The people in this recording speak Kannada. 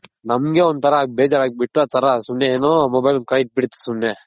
ನಮ್ಗೆ ಒಂತರ ಬೇಜಾರ್ ಆಗ್ಬಿಟ್ಟು ಆ ತರ ಏನೋ ಸುಮ್ನೆ ಏನೋ Mobile ಕೈಲ್ ಇಟ್ ಬಿಡ್ತಿವ್ ಸುಮ್ನೆ.